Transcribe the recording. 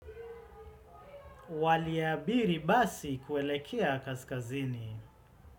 Waliabiri basi kuelekea kaskazini.